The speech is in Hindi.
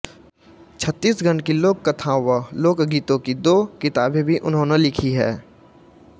छत्तीसगढ़ की लोककथाओं व लोकगीतों की दो किताबें भी उन्होंने लिखी हैं